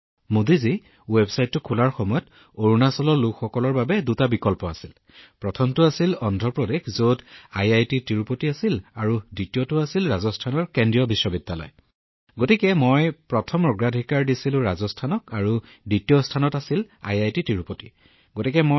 মোদীজী যেতিয়া মই ৱেবছাইটটো খুলিছিলো অৰুণাচলৰ লোকসকলৰ বাবে দুটা বিকল্প আছিল প্ৰথমটো আছিল অন্ধ্ৰ প্ৰদেশ যত আইআইটি তিৰুপতি আছিল আৰু দ্বিতীয়টো আছিল ৰাজস্থানৰ কেন্দ্ৰীয় বিশ্ববিদ্যালয় সেয়েহে মই ৰাজস্থান হিচাপে মোৰ প্ৰথম পছন্দ কৰিছিলো দ্বিতীয় অগ্ৰাধিকাৰ হিচাপে মই আইআইটি তিৰুপতি কৰিছিলো